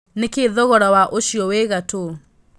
nĩ kĩĩ thogora wa ũcĩo wĩ ngatũ